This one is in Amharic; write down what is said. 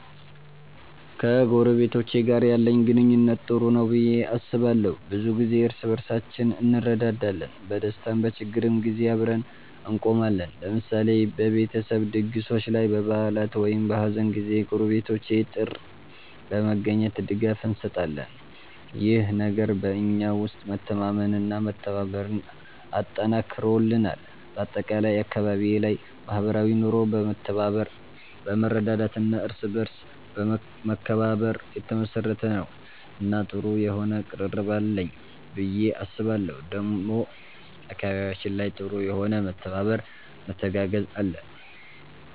ከጎረቤቶቼ ጋር ያለኝ ግንኙነት ጥሩ ነው ብዬ አስባለሁ። ብዙ ጊዜ እርስ በርሳችን እንረዳዳለን፣ በደስታም በችግርም ጊዜ አብረን እንቆማለን። ለምሳሌ በቤተሰብ ድግሶች ላይ፣ በበዓላት ወይም በሀዘን ጊዜ ጎረቤቶቼ ጥር በመገኘት ድጋፍ እንሰጣጣለን። ይህ ነገር በእኛ ውስጥ መተማመንና መተባበርን አጠንክሮልናል። በአጠቃላይ አካባቢዬ ላይ ማህበራዊ ኑሮ በመተባበር፣ በመረዳዳት እና በእርስ በርስ መከባበር የተመሰረተ ነው እና ጥሩ የሆነ ቅርርብ አለኝ ብዬ አስባለሁ ዴሞ አካባቢያችን ላይ ጥሩ የሆነ መተባበር መተጋገዝ አለ።